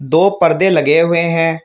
दो पर्दे लगे हुए हैं।